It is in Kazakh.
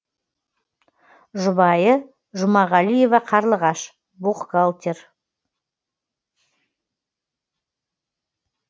жұбайы жұмағалиева қарлығаш бухгалтер